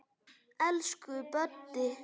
Elsku Böddi.